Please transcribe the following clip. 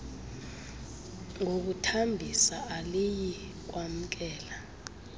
ngokuthambisa aliyi kwamkela